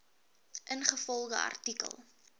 ingevolge artikel